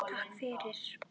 Takk fyrir.